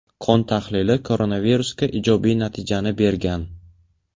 Qon tahlili koronavirusga ijobiy natijani bergan.